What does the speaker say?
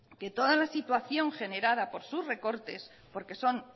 que toda la situación generada por sus recortes porque son